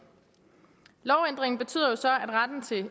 lovændringen betyder jo så